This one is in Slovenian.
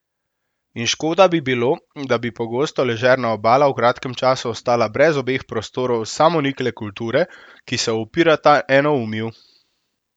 In škoda bi bilo, da bi pogosto ležerna Obala v kratkem času ostala brez obeh prostorov samonikle kulture, ki se upirata enoumju.